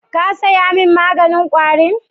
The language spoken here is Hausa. Ka saya mun maganin kwari 'n?